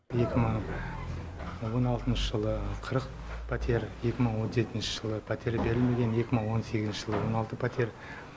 екі мың он алтыншы жылы қырық пәтер екі мың он жетінші жылы пәтер берілмеген екі мың он сегізінші жылы он алты пәтер